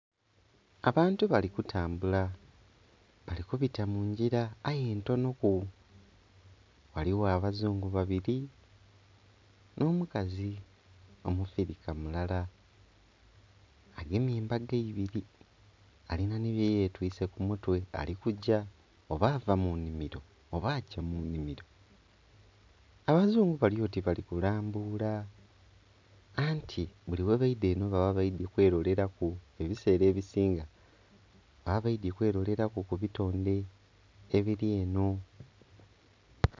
Abantu bali kutambula abali kubita mungira aye ntono ku ghaligho abazungu babiri n'omukazi omufirika mulala agemye embago ibiri alina ni byeyetwise kumutwe ali kugya oba ava munhimiro oba agya munhimiro. Abazungu balyoti bali kulambula anti buli buli ghebeidha eno baba kwerolera ku ebisira ebisinga baba baidhye kweroleraku kubitonde ebiri eno.